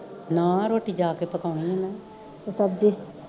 ਨਾ ਰੋਟੀ ਜਾ ਕੇ ਪਕਾਉਣੀ ਐ ਮੈਂ